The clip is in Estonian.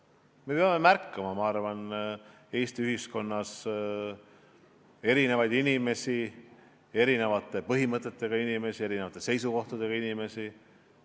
Me peame märkama Eesti ühiskonnas erinevaid inimesi, erinevate põhimõtetega inimesi, erinevate seisukohtadega inimesi.